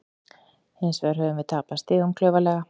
Hins vegar höfum við tapað stigum klaufalega.